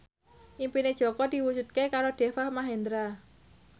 impine Jaka diwujudke karo Deva Mahendra